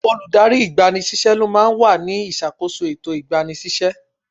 Olùdarí ìgba ni síṣẹ́ ló máa wà ní ìṣàkóso ètò ìgbani síṣẹ́.